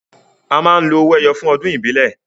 A máa ń lo owó ẹyọ fún ọdún ìbílẹ̀